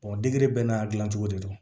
degedege bɛɛ n'a dilancogo de don